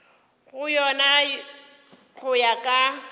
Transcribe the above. go yona go ya ka